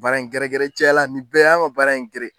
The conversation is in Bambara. Baara in gɛrɛ gɛrɛ caya la nin bɛɛ ye an ka baara in gɛrɛ